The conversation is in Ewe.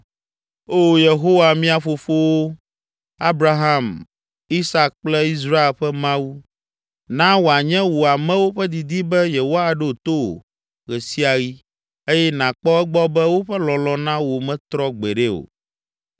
Oo, Yehowa, mía fofowo, Abraham, Isak kple Israel ƒe Mawu! Na wòanye wò amewo ƒe didi be yewoaɖo to wò ɣe sia ɣi eye nàkpɔ egbɔ be woƒe lɔlɔ̃ na wò metrɔ gbeɖe o.